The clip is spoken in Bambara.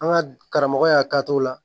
An ka karamɔgɔ y'a k'a t'o la